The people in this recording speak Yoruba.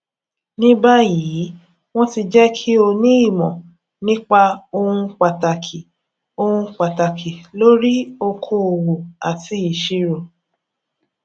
ní báyìí wọn ti jẹ kí o ní ìmọ nípa ohun pàtàkì ohun pàtàkì lórí okoòwò àti ìṣirò